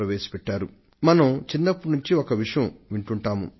ఇటువంటి విషయాలను మనం బాల్యం నుండే వింటున్నాం